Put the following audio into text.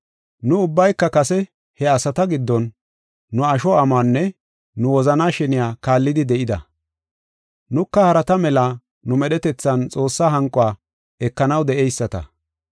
Nu ubbayka kase he asata giddon nu asho amuwanne nu wozanaa sheniya kaallidi de7ida. Nuka harata mela nu medhetethan Xoossaa hanquwa ekanaw de7eyisata.